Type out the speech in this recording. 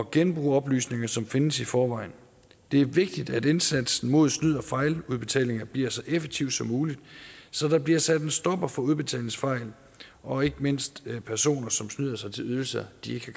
genbruge oplysninger som findes i forvejen det er vigtigt at indsatsen mod snyd og fejludbetalinger bliver så effektiv som muligt så der bliver sat en stopper for udbetalingsfejl og ikke mindst personer som snyder sig til ydelser de ikke